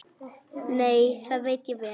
Nei, það veit ég vel.